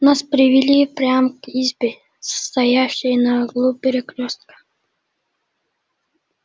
нас привели прямо к избе стоявшей на углу перекрёстка